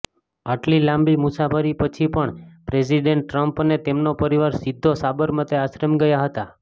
આટલી લાંબી મુસાફરી પછી પણ પ્રેસિડેન્ટ ટ્રમ્પ અને તેમનો પરિવાર સીધો સાબરમતી આશ્રમ ગયા હતા